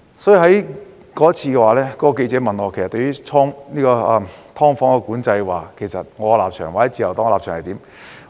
因此，當時該名記者問我對"劏房"管制的立場或自由黨的有關立場為